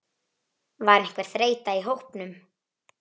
Var einhver þreyta í hópnum?